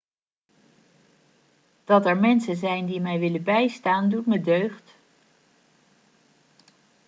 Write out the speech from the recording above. dat er mensen zijn die mij willen bijstaan doet me deugd